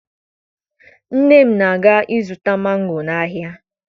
Nne m na-aga ịzụta mango n'ahịa